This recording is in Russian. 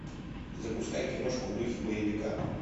запускай киношку в духе боевика